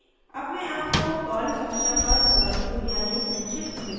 अब मैं आपको पर्ल भाषा पर ओवरव्यू यानी संक्षिप्त विवरण देती हूँ